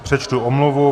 Přečtu omluvu.